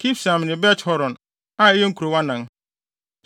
Kibsaim ne Bet-Horon, a ɛyɛ nkurow anan.